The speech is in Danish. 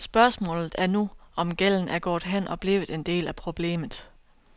Spørgsmålet er nu, om gælden er gået hen og blevet en del af problemet.